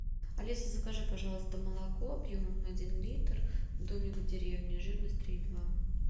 алиса закажи пожалуйста молоко объемом один литр домик в деревне жирность три и два